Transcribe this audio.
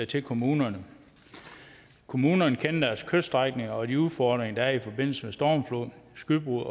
til kommunerne kommunerne kender deres kyststrækninger og de udfordringer der er i forbindelse med stormflod skybrud